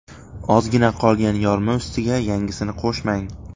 Ozgina qolgan yorma ustiga yangisini qo‘shmang.